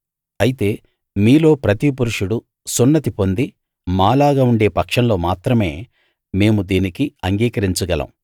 అయితే మీలో ప్రతి పురుషుడు సున్నతి పొంది మాలాగా ఉండే పక్షంలో మాత్రమే మేము దీనికి అంగీకరించగలం